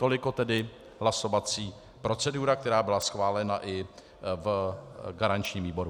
Toliko tedy hlasovací procedura, která byla schválena i v garančním výboru.